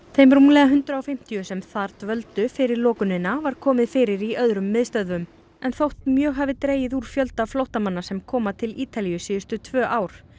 þeim rúmlega hundrað og fimmtíu sem þar dvöldu fyrir lokunina var komið fyrir í öðrum miðstöðvum en þótt mjög hafi dregið úr fjölda flóttamanna sem koma til Ítalíu síðustu tvö ár